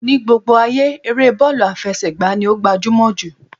Ní gbogbo ayé, eré bọ́ọ̀lù àfẹsẹ̀gba ni ó gbajúmọ̀ jù